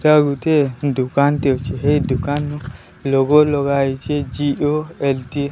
ଏଇଟା ଗୋଟିଏ ଦୁକାନଟି ଅଛି ହେଇ ଦୋକାନରୁ ଲୋଗୋ ଲଗା ହେଇଛି ଜି_ଓ_ଏ_ଲ୍ଟି ।